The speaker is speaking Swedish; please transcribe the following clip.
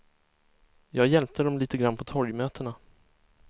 Jag hjälpte dem lite grann på torgmötena.